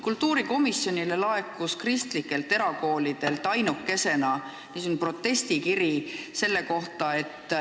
Kultuurikomisjonile laekus kristlikelt erakoolidelt ainukesena protestikiri selle kohta.